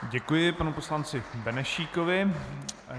Děkuji panu poslanci Benešíkovi.